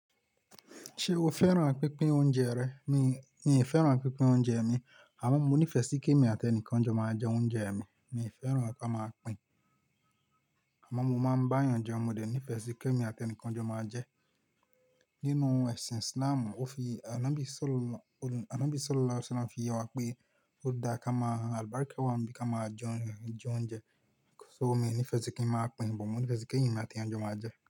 Ṣé o fẹ́ràn pínpín oúnjẹ rẹ? Mi, mi ò fẹ́ràn pínpín oúnjẹ mi, àmọ́ mo nífẹ̀ẹ́ sí kí èmi àti ẹnìkan jọ máa jẹ oúnjẹ mi. Mi ò fẹ́ràn kí a máa pín, àmọ́ mo máa ń bá èèyàn jẹun, mo de ní ìfẹ́ sí kí èmi àti ẹnìkan jọ máa jẹ. Nínú ẹ̀sìn Islam, ó fi-- Anàbí Salu Ala ánàbí Salalau Ṣalam fi yewa pé ó dá ká máa albarka wa n bí ká máa jẹ oúnjẹ. So mi ò ní ìfẹ́ sí kí ń máa pín, but mo ní ìfẹ́ sí kí èmi àti ẹnìkan jọ máa jẹ.